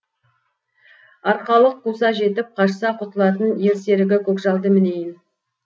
арқалық қуса жетіп қашса құтылатын ер серігі көкжалды мінейін